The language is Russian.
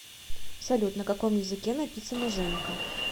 салют на каком языке написано женька